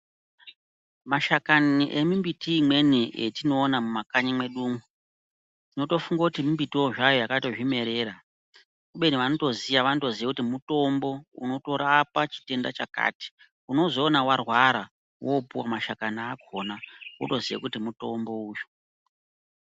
Mashakani emimbiti imweni etinoona mumakanyi mwedu umwo tinotofunge kuti mimbitiwo zvayo yakazvimerera kubeni vanotoziya vanotoziya kuti mutombo unorapa chitenda chakati unozoona warwara wopuwa mashakani akhona wotoziye kuti mutombo uyu.